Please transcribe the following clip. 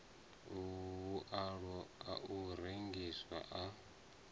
vhualo a u rengisa a